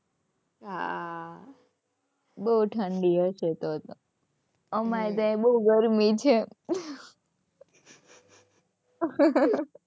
હાં બહુ ઠંડી હશે તો તો. અમારે તો આય બહુ ગરમી છે. હાં.